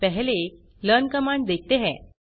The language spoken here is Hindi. पहले learnकमांड देखते हैं